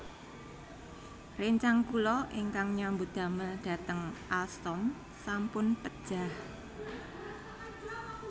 Rencang kula ingkang nyambut damel dhateng Alstom sampun pejah